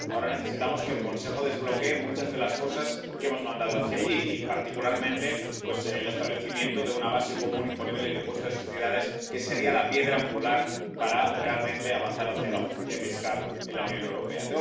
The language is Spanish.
Ahora necesitamos que el Consejo desbloquee muchas de las cosas que le hemos mandado y, particularmente, el establecimiento de una base común imponible del impuesto de sociedades, que sería la piedra angular para realmente avanzar hacia la justicia fiscal en la Unión Europea.